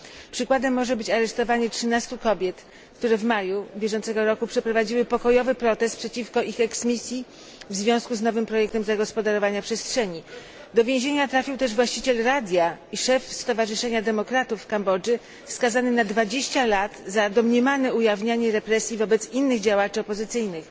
Przykładem może być aresztowanie 13 kobiet, które w maju bieżącego roku przeprowadziły pokojowy protest przeciwko ich eksmisji w związku z nowym projektem zagospodarowania przestrzeni. Do więzienia trafił też właściciel radia i szef stowarzyszenia demokratów w Kambodży skazany na 20 lat za domniemane ujawnianie represji wobec innych działaczy opozycyjnych.